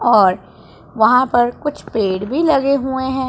और वहां पर कुछ पेड़ भी लगे हुए हैं।